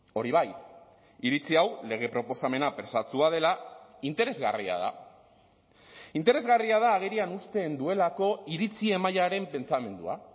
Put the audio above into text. hori bai iritzi hau lege proposamena presatsua dela interesgarria da interesgarria da agerian uzten duelako iritzi mailaren pentsamendua